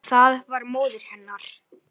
Það var móðir hennar.